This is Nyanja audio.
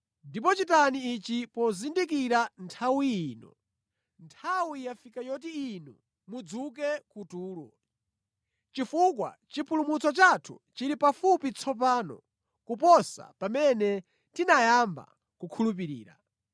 Ndipo chitani ichi pozindikira nthawi ino. Nthawi yafika yoti inu mudzuke kutulo, chifukwa chipulumutso chathu chili pafupi tsopano kuposa pamene tinayamba kukhulupirira.